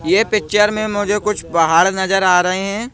ये पिक्चर में मुझे कुछ पहाड़ नजर आ रहे हैं।